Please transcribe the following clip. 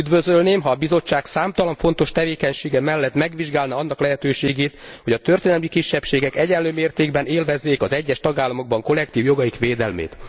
Üdvözölném, ha a Bizottság számtalan fontos tevékenysége mellett megvizsgálná annak lehetőségét, hogy a történelmi kisebbségek egyenlő mértékben élvezzék az egyes tagállamokban kollektív jogaik védelmét.